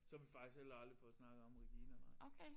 Så vi faktisk heller aldrig fået snakket om Regina nej